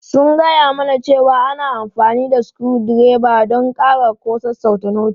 Sun gaya mana cewa ana amfani da sukuru dreba don ƙara ko sassauta noti.